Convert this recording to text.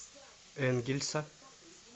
энгельса